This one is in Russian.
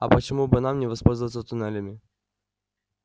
а почему бы нам не воспользоваться туннелями